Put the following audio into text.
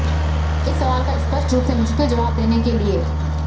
इस सवाल का स्पष्ट रूप से मुश्किल जवाब देने के लिए